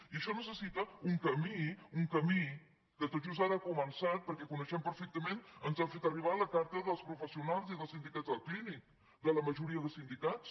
i això necessita un camí un camí que tot just ara ha començat perquè coneixem perfectament ens l’han fet arribar la carta dels professionals i dels sindicats del clínic de la majoria de sindicats